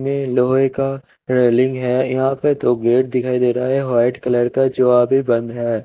में लोहे का रेलिंग है यहा पे तो गेट दिखाई दे रहा है वाइट कलर का जो अभी बंद है।